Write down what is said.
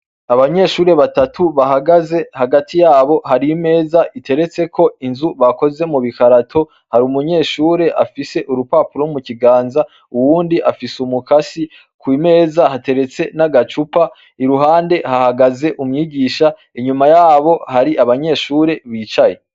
Abanyeshure batatu bahagaze, hagati yabo hari imeza iteretseko inzu bakoze mu gikarato. hari umunyeshuri umwe afise urupapuro mu kiganza, uwundi afise umukasi, ku meza hateretse n'agacupa, iruhande hahagaze umwigisha, inyuma yabo hari abanyeshure bicaye.